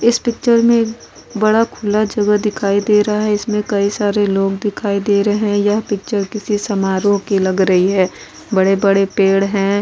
इस पिक्चर में बड़ा खुला जगह दिखाई दे रहा है इसमें कई सारे लोग दिखाई दे रहे हैं यह पिक्चर किसी समारोह की लग रही है बड़े-बड़े पेड़ हैं ।